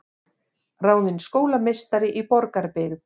Ráðin skólameistari í Borgarbyggð